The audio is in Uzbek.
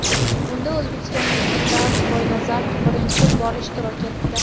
Unda o‘zbekistonlik Firdavs Boynazarov birinchi bor ishtirok etdi.